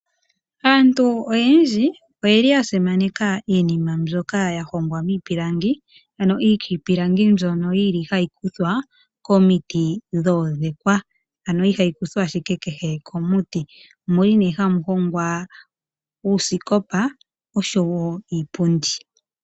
Aantu oyendji oyasimake iinima ndjoka ya hongwa miipilangi ano iitipilangi ndjono ha yi kuthwa komiti ndhoka dhoodhekwa ano ihaikuthwa ashike ke he komiti, omo muli née hamu hongwa uusikopa nosho woo iipundi.